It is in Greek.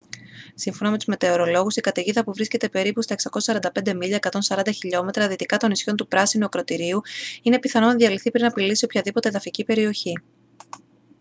σύμφωνα με τους μετεωρολόγους η καταιγίδα που βρίσκεται περίπου 645 μίλια 140 χιλιόμετρα δυτικά των νησιών του πράσινου ακρωτηρίου είναι πιθανό να διαλυθεί πριν απειλήσει οποιαδήποτε εδαφική περιοχή